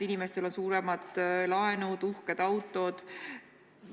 Mõnel on suuremad laenud ja uhkemad autod.